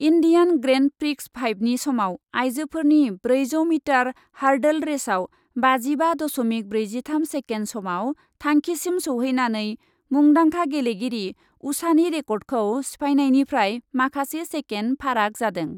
Indian grand prix फाइभनि समाव आइजोफोरनि ब्रैजौ मिटार हार्डल रेसआव बाजिबा दस'मिक ब्रैजिथाम सेकेन्ड समआव थांखिसिम सौहैनानै मुंदांखा गेलेगिरि उषानि रेकर्डखौ सिफायनायनिफ्राय माखासे सेकेन्ड फाराग जादों।